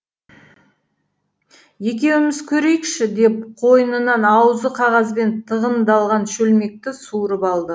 екеуміз көрейікші деп қойнынан аузы қағазбен тығындалған шөлмекті суырып алды